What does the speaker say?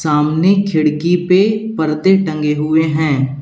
सामने खिड़की पे पर्दे टंगे हुए हैं।